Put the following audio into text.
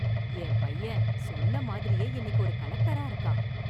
என் பையன் சொன்ன மாதிரியே இன்னைக்கு ஒரு கலெக்டரா இருக்கான்